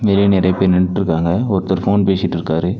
வெளிய நறைய பேர் நின்னுட்ருக்காங்க ஒருத்தர் ஃபோன் பேசிட்ருக்காரு.